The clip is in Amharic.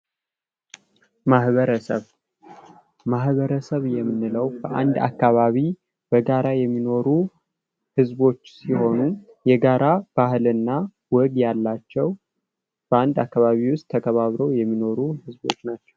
ማህበረሰብ የምንለው በአንድ አካባቢ በጋራ የሚኖር ህዝቦች ሲሆኑ የጋራ ባህልና ወግ ያላቸው በአንድ አከባቢ ውስጥ ተከባብሮ የሚኖሩ ህዝቦች ናቸው።